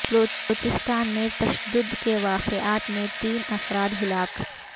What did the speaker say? بلوچستان میں تشدد کے واقعات میں تین افراد ہلاک